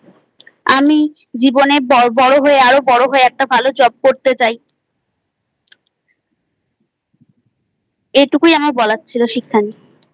আমি জীবনে বড় হয়ে আরও বড় একটা ভালো Job করতে চাই। এটুকুই আমার বলার ছিল শিক্ষা নিয়েI